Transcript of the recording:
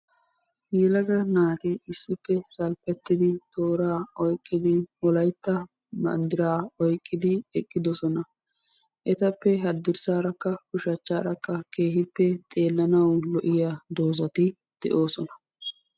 Yelaga naati issippe salppetti toora oyqqidi Wolaytta banddira oyqqidi eqqidoosona; etappe haddirssarakka ushachcharakka keehippe xeelanaw lo"iyaa doozati de'oosona.